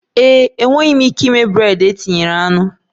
Ee e, enweghị m ike ịme bred e tinyere anụ